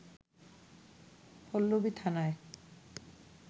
পল্লবী থানায়